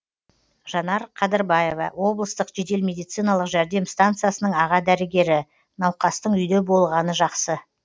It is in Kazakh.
жанар қадырбаева облыстық жедел медициналық жәрдем станциясының аға дәрігері науқастың үйде болғаны жақсы